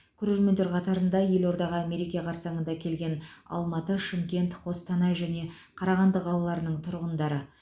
көрермендер қатарында елордаға мереке қарсаңында келген алматы шымкент қостанай және қарағанды қалаларының тұрғындары